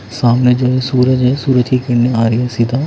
सामने जो है सूरज है सूरज की किरणें आ रही हैं सीधा--